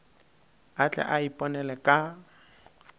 a tle a iponele ka